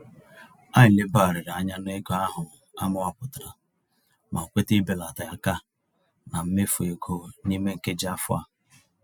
Anyị lebagharịrị anya n'ego ahụ amawapụtara ma kweta ibelata àkà na mmefu égo n'ime nkeji afọ a.